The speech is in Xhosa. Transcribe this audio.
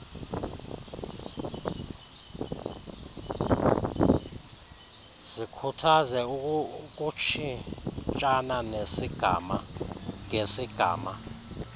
zikhuthaze ukutshintshana ngesigama